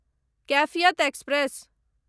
Kaifiyat express